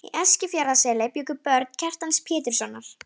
Í Eskifjarðarseli bjuggu börn Kjartans Péturssonar.